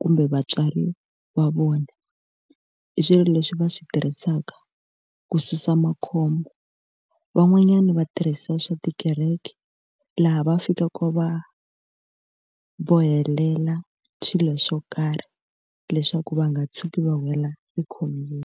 kumbe vatswari va vona. I swilo leswi va swi tirhisaka ku susa makhombo. Van'wanyana va tirhisa swa tikereke laha va fikaka va bohelela swilo swo karhi leswaku va nga tshuki va wela ekhombyeni.